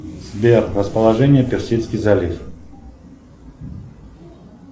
сбер расположение персидский залив